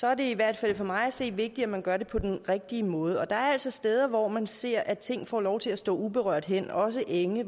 er det i hvert fald for mig at se vigtigt at man gør det på den rigtige måde og der er altså steder hvor man ser at ting får lov til at stå uberørt hen også enge